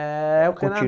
É o.